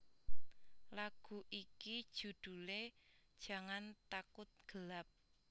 Lagu iki judhule Jangan Takut Gelap